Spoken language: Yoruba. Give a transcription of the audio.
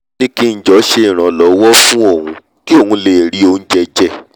ó ní kí ng jọ̀ọ́ ṣe ìrànlọ́wọ́ fún òun kí òun lè rí oúnjẹ jẹ